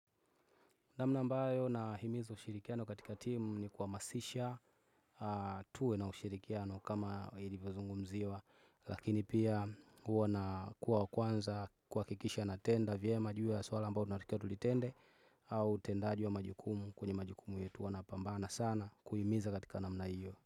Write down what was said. Namna mbayo na himizo ushirikiano katika timu ni kwahamasisha. Tuwe na ushirikiano kama ilivyozungumziwa. Lakini pia huo na kuwa kwanza kwahakikisha natenda vyema ju ya swala ambao tunatikia tulitende. Au tendaji wa majukumu kwenye majukumu yetu wanapambana sana kuhimiza katika namna hiyo.